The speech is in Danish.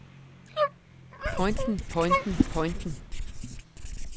pointen pointen pointen